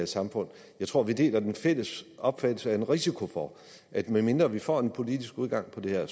samfund jeg tror vi deler den fælles opfattelse er en risiko for at medmindre vi får en politisk udgang på det her